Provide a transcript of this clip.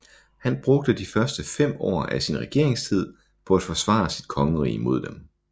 Han brugte de første fem år af sin regeringstid på at forsvare sit kongerige mod dem